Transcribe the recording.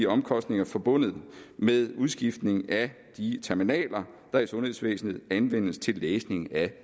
omkostninger forbundet med udskiftningen af de terminaler der i sundhedsvæsenet anvendes til læsning af